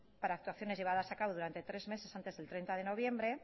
para actuaciones llevadas a cabo durante tres meses antes del treinta de noviembre